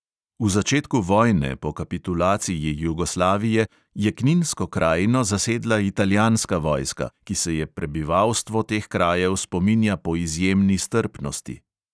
V začetku vojne, po kapitulaciji jugoslavije, je kninsko krajino zasedla italijanska vojska, ki se je prebivalstvo teh krajev spominja po izjemni strpnosti.